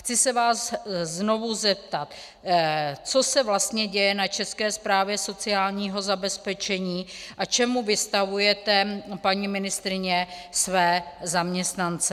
Chci se vás znovu zeptat: Co se vlastně děje na České správě sociálního zabezpečení a čemu vystavujete, paní ministryně, své zaměstnance?